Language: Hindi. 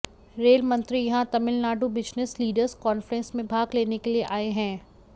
रेल मंत्री यहां तमिलनाडु बिजनेस लीडर्स कांफ्रेन्स में भाग लेने के लिए आए हैं